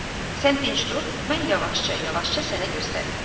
Yaxşı, sən dinç dur, mən yavaşca yavaşca sənə göstərim.